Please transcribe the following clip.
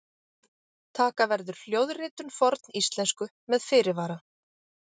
taka verður hljóðritun forníslensku með fyrirvara!